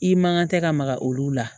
I mankan tɛ ka maga olu la